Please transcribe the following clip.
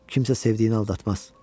Kimsə sevdiyini aldatmaz.